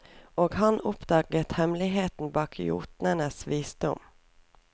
Og han oppdager hemmeligheten bak jotnens visdom.